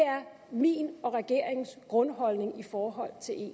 min og regeringens grundholdning i forhold til eu